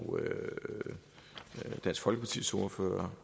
dansk folkepartis ordfører